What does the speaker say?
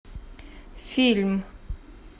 фильм